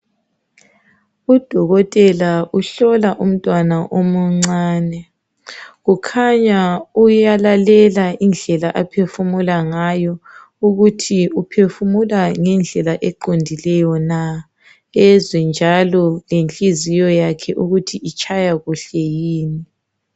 u dokotela uhlola umntwana omuncane kukhanya uyalalela indlela aphefumula ngayo ukuthi uphefumula ngendlela eqondileyo na ezwe njalo lenhliziyo yakhe ukuthi itshaya kuhle yini